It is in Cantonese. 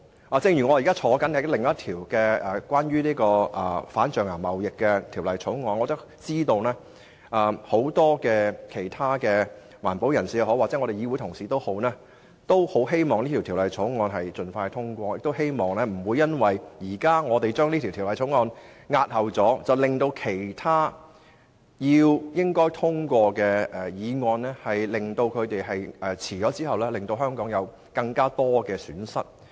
我現在也是另一個有關反對象牙貿易的法案委員會的成員，知道很多環保人士和議會同事均希望有關法案能盡快獲得通過，不想因為我們現時押後處理《條例草案》，以致其他理應獲通過的法案推遲通過，令香港蒙受更多損失。